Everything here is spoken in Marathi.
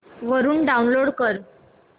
वरून डाऊनलोड कर